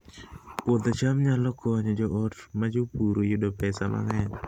Puodho cham nyalo konyo joot ma jopur yudo pesa mang'eny